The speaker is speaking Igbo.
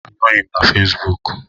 Anọghị m na Fesbuk